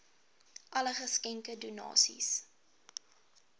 alle geskenke donasies